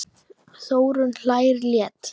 Þórunn hlær létt.